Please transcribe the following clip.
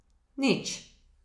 Nič.